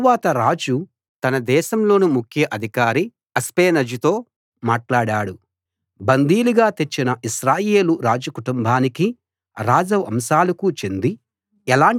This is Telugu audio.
తరువాత రాజు తన దేశంలోని ముఖ్య అధికారి అష్పెనజుతో మాట్లాడాడు బందీలుగా తెచ్చిన ఇశ్రాయేలు రాజు కుటుంబానికీ రాజవంశాలకు చెంది